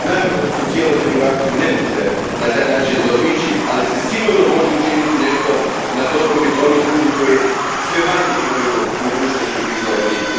Naravno da se u cijelosti ribarstvo ne može na taj način zaobići, ali se sigurno može učiniti nešto na dobrobit onih ljudi koji sve manje imaju mogućnosti izlova ribe.